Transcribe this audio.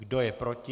Kdo je proti?